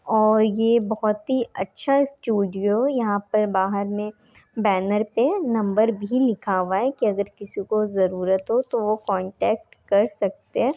और ये बहुत ही अच्छा स्टूडियो यहाँ पर बहार मे बैनर पे नंबर भी लिखा हुआ है की अगर किसी को जरूरत हो तो वो कोन्टैक्ट कर सकते हैं।